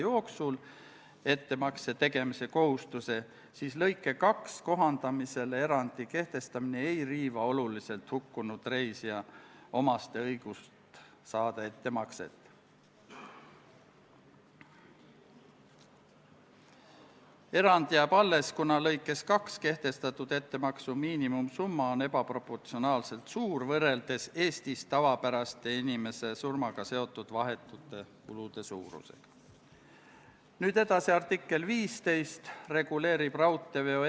Tulenevalt eeltoodust otsustas riigikaitsekomisjon oma k.a 21. oktoobri istungil konsensuslikult, et Riigikogule tehakse ettepanek eelnõu teine lugemine lõpetada ning Riigikogu kodu- ja töökorra seaduse §-le 109 tuginedes eelnõu lõpphääletusele panna ja Riigikogu otsusena vastu võtta.